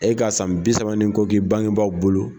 E ka san bi saba ni k'i bangebaaw bolo.